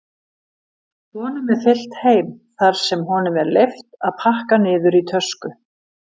Honum er fylgt heim þar sem honum er leyft að pakka niður í tösku.